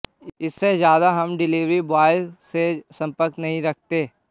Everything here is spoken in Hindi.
इससे ज़्यादा हम डिलीवरी ब्वॉयज से संपर्क नहीं रखते